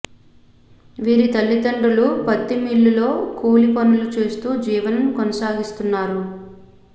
వీరి తల్లిదండ్రులు పత్తి మిల్లులో కూలి పనులు చేస్తూ జీవనం కొనసాగిస్తున్నారు